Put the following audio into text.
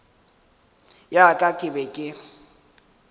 ya ka ke be ke